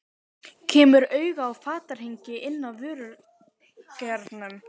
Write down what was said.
Kemur auga á fatahengi inn af vörulagernum.